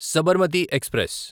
Sabarmati express